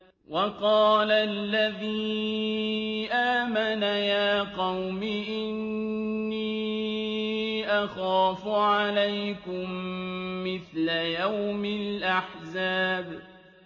وَقَالَ الَّذِي آمَنَ يَا قَوْمِ إِنِّي أَخَافُ عَلَيْكُم مِّثْلَ يَوْمِ الْأَحْزَابِ